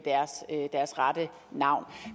deres rette navn